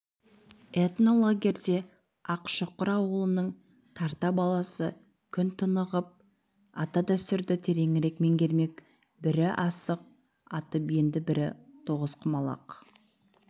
этнолагерьде ақшұқыр ауылының тарта баласы күн тынығып ата-дәстүрді тереңірек меңгермек бірі асық атып енді бірі тоғызқұмалақ